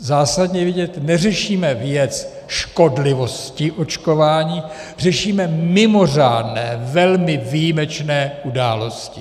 Zásadně vědět - neřešíme věc škodlivosti očkování, řešíme mimořádné, velmi výjimečné události.